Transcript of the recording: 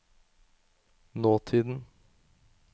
nåtiden